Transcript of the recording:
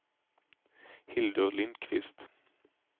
Hildur Lindkvist